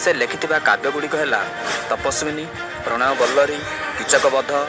ସେ ଲେଖିଥିବା କାବ୍ୟଗୁଡିକ ହେଲା ତପସ୍ୱିନୀ ପ୍ରଣୟବଲ୍ଲରୀ କୀଚକବଧ।